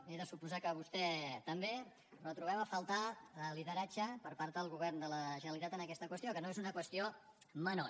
he de suposar que vostè també però trobem a faltar el lideratge per part del govern de la generalitat en aquesta qüestió que no és una qüestió menor